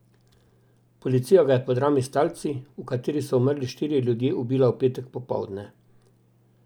Policija ga je po drami s talci, v kateri so umrli štirje ljudje, ubila v petek popoldne.